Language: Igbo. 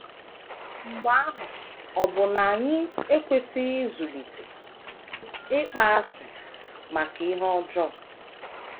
Mgbe ahụ, ọ̀ bụ na anyị ekwesịghị ịzụlite ịkpọasị maka ihe ọjọọ?